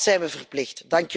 Dat zijn we verplicht.